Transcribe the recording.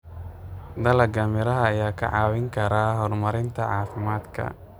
Dalagga miraha ayaa kaa caawin kara horumarinta caafimaadka.